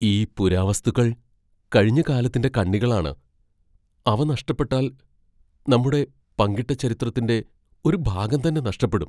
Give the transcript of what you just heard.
ഈ പുരാവസ്തുക്കൾ കഴിഞ്ഞ കാലത്തിന്റെ കണ്ണികളാണ്, അവ നഷ്ടപ്പെട്ടാൽ, നമ്മുടെ പങ്കിട്ട ചരിത്രത്തിന്റെ ഒരു ഭാഗം തന്നെ നഷ്ടപ്പെടും.